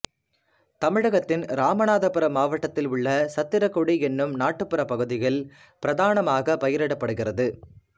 தமிழகத்தின் ராமநாதபுரம் மாவட்டத்திலுள்ள சத்திரகுடி எனும் நாட்டுப்புற பகுதியில் பிரதானமாக பயிரிடப்படுகிறது